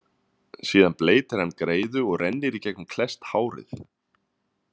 Síðan bleytir hann greiðu og rennir í gegnum klesst hárið.